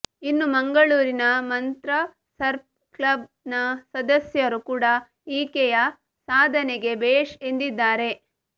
ಇನ್ನು ಮಂಗಳೂರಿನ Mantra surf club ನ ಸದ್ಯಸರು ಕೂಡ ಈಕೆಯ ಸಾಧನೆಗೆ ಭೇಷ್ ಎಂದಿದ್ದಾರೆ